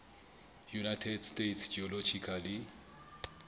united states geological